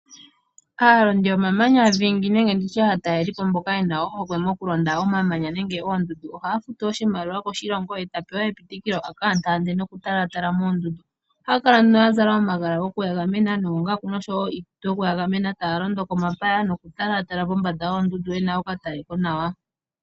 Aalondi yomamanya dhingi nenge nditye aataleli po mboka yena ohokwe yoku londa omamanya nenge oondundu ohaya futu oshimaliwa koshilongo ye ta pewa epitikilo a ka taa ntaande noku talatala moondundu. Ohaya kala nduno ya zala omagala goku ya gamena noongaku noshowo iikutu yoku ya gamena taya londo komapaya mokutala pombanda yoondundu yena oka tale ko nawa.